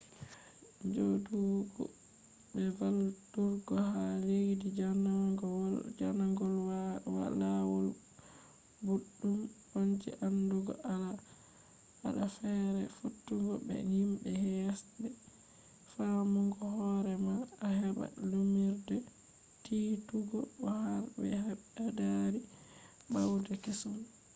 njoodugo be valluturgo ha leddi jannano lawol boddum on je andugo al’aada feere fottugo be himbe hesbe faamugo hoore ma a heba lumnirde tiitugo bo har be beddaari bawde kesum